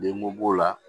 Denko b'o la